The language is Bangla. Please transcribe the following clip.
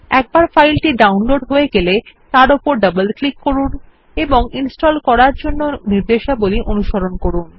একবার ফাইলটি ডাউনলোড হয়ে গেলে তার উপর ডবল ক্লিক করুন এবং ইনস্টলের জন্যে নির্দেশাবলী অনুসরণ করুন